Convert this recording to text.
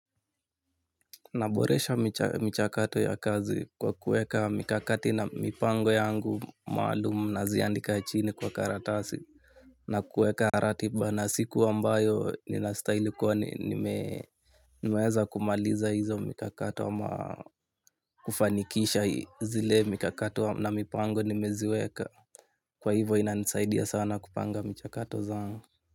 Naboresha michakato ya kazi kwa kuweka mikakati na mipango yangu maalumu naziandika chini kwa karatasi na kuweka ratiba na siku ambayo ninastahili kuwa nimeweza kumaliza hizo mikakati kufanikisha zile mikakato na mipango nimeziweka. Kwa hivo inanisaidia sana kupanga michakato zangu.